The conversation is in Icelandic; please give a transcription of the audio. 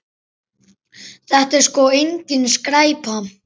Þetta er sko engin skræpa.